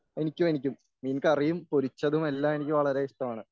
എനിക്കും എനിക്കും മീൻകറിയും പൊരിച്ചതും എല്ലാം എനിക്ക് വളരെ ഇഷ്ടമാണ്.